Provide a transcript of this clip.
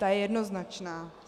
Ta je jednoznačná.